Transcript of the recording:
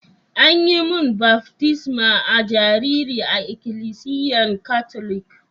An yi mun baftisma a'jariri a ikilisiyan Catholic.